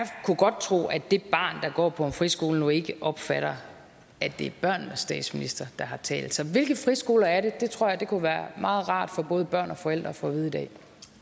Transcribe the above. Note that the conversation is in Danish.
kunne godt tro at det barn der går på en friskole ikke opfatter at det er børnenes statsminister der har talt så hvilke friskoler er det det tror jeg kunne være meget rart for både børn og forældre at få at vide i dag